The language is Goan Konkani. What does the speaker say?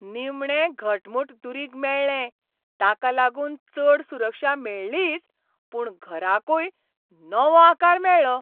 निमणें घटमूट दुरीग मेळ्ळें, ताका लागून चड सुरक्षा मेळ्ळीच, पूण घराकूय नवो आकार मेळ्ळो.